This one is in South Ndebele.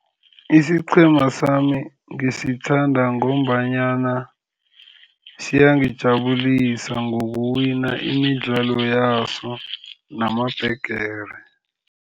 Isiqhema sami ngisithanda ngombanyana siyangijabulisa ngokuwina imidlalo yaso namabhigiri.